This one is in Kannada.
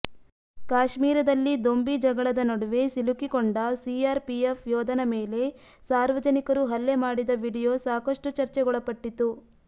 ಕಾಶ್ಮೀರದಲ್ಲಿ ದೊಂಬಿ ಜಗಳದ ನಡುವೆ ಸಿಲುಕಿಕೊಂಡ ಸಿಆರ್ ಪಿಎಫ್ ಯೋಧನ ಮೇಲೆ ಸಾರ್ವಜನಿಕರು ಹಲ್ಲೆ ಮಾಡಿದ ವಿಡಿಯೋ ಸಾಕಷ್ಟು ಚರ್ಚೆಗೊಳಲ್ಪಟ್ಟಿತು